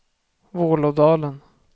Vålådalen